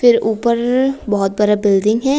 फिर ऊपर बहुत बड़ा बिल्डिंग है।